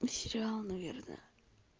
сериал наверное